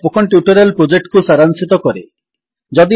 ଏହା spoken tutorial ପ୍ରୋଜେକ୍ଟକୁ ସାରାଂଶିତ କରେ